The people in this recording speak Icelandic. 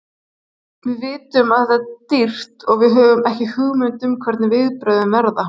Við vitum að þetta er dýrt og við höfum ekki hugmynd um hvernig viðbrögðin verða.